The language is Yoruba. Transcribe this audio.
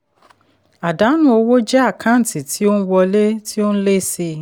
àdánù owó jẹ́ àkáǹtì tí ó n wọlé tí ó n lé sí i.